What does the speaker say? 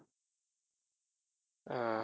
அஹ்